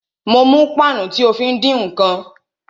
Mo mú páànù tí o fí ń dín ǹkan